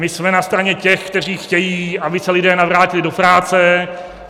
My jsme na straně těch, kteří chtějí, aby se lidé navrátili do práce.